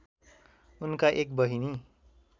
उनका एक बहिनी